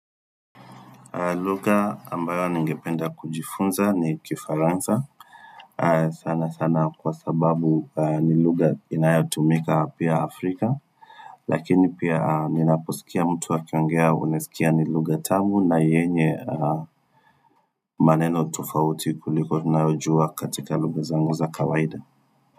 Lugha ambayo ningependa kujifunza ni kifaransa sana sana kwa sababu ni lugha inayotumika hapa Afrika Lakini pia ninaposikia mtu akiongea unasikia ni lugha tamu na yenye maneno tofauti kuliko tunayojua katika lugha zangu za kawaida.